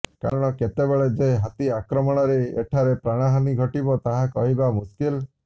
କାରଣ କେତେବେଳେ ଯେ ହାତୀ ଆକ୍ରମଣରେ ଏଠାରେ ପ୍ରାଣହାନୀ ଘଟିବ ତାହା କହିବା ମୁସ୍କିଲ